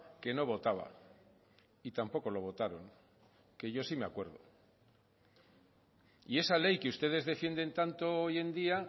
que no votaba y tampoco lo votaron que yo sí me acuerdo y esa ley que ustedes defienden tanto hoy en día